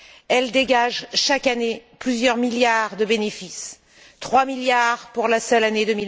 Elle dégage chaque année plusieurs milliards de bénéfices, trois milliards pour la seule année